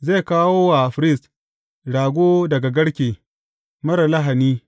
Zai kawo wa firist rago daga garke, marar lahani.